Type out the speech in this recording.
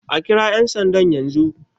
A kira yan sandan yanzu!